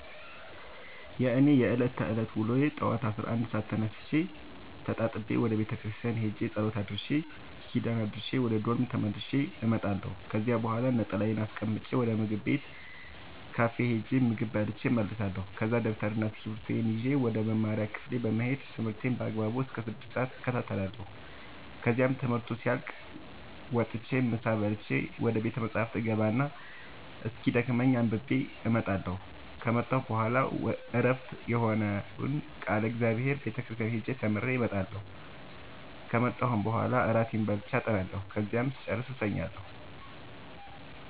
የእኔ የዕለት ተዕለት ውሎዬ ጠዋት አስራ አንድ ሰአት ተነስቼ ተጣጥቤ ወደ ቤተክርስቲያን ሄጄ ጸሎት አድርሼ ኪዳን አድርሼ ወደ ዶርሜ ተመልሼ እመጣለሁ ከዚያ በኋላ ነጠላዬን አስቀምጬ ወደ ምግብ ቤት ካፌ ሄጄ ምግብ በልቼ እመለሳለሁ ከዛ ደብተርና እስኪብርቶዬን ይዤ ወደ መማሪያ ክፍሌ በመሄድ ትምህርቴን በአግባቡ እስከ ስድስት ሰአት እከታተላለሁ ከዚያም ትምህርቱ ሲያልቅ መጥቼ ምሳ በልቼ ወደ ቤተ መፅሀፍ እገባ እና እስኪደክመኝ አንብቤ እመጣለሁ ከመጣሁ በኋላ ዕረፍት የሆነውን ቃለ እግዚአብሔር ቤተ ክርስቲያን ሄጄ ተምሬ እመጣለሁ ከመጣሁም በኋላ እራቴን በልቼ አጠናለሁ ከዚያም ስጨርስ እተኛለሁ።